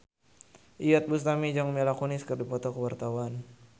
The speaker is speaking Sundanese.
Iyeth Bustami jeung Mila Kunis keur dipoto ku wartawan